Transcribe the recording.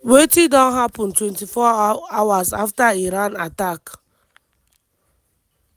wetin don happun 24 hours afta iran attack?